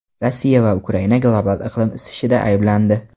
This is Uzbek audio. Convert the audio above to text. Rossiya va Ukraina global iqlim isishida ayblandi.